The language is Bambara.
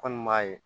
Kɔni b'a ye